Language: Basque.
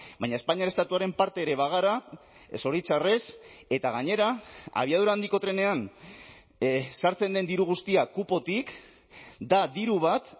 baina espainiar estatuaren parte ere bagara zoritxarrez eta gainera abiadura handiko trenean sartzen den diru guztia kupotik da diru bat